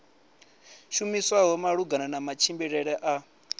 shumiswaho malugana na matshimbidzele a